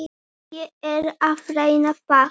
Ég er að reyna það.